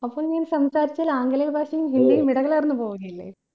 അപ്പോൾ നീ സംസാരിച്ചാൽ ആംഗലേയ ഭാഷയും ഹിന്ദിയും ഇടകലർന്ന് പോവുകയില്ലേ